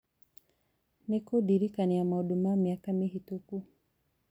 nĩ kũndirikania maũndũ ma mĩaka mĩhĩtũku